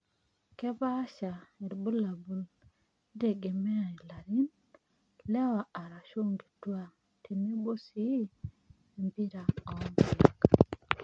Kepaasha ilbulabul eitegemea ilarin, lewa aashu nkituak tenebo sii empira oonkulak.